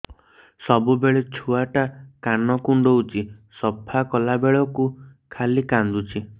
ସବୁବେଳେ ଛୁଆ ଟା କାନ କୁଣ୍ଡଉଚି ସଫା କଲା ବେଳକୁ ଖାଲି କାନ୍ଦୁଚି